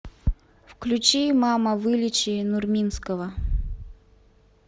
включи мама вылечи нурминского